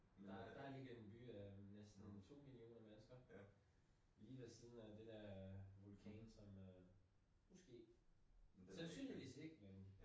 Der der ligger en by øh med næsten 2 millioner mennesker lige ved siden af det der vulkan som øh måske sandsynlighed ikke men